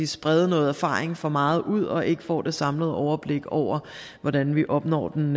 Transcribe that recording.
sprede noget erfaring for meget ud og ikke får det samlede overblik over hvordan vi opnår den